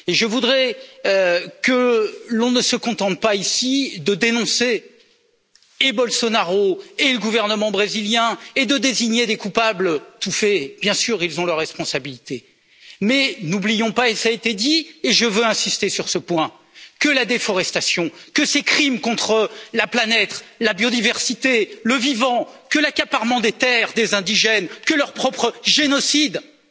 Je voudrais que l'on ne se contente pas ici de dénoncer et Bolsonaro et le gouvernement brésilien et de désigner des coupables tout faits. Bien sûr, ils ont leurs responsabilités, mais n'oublions pas cela a été dit et je veux insister sur ce point que la déforestation, que ces crimes contre la planète, la biodiversité, le vivant, que l'accaparement des terres des indigènes, que leur propre génocide, tout cela